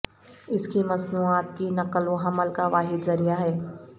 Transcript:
اس کی مصنوعات کی نقل و حمل کا واحد ذریعہ ہے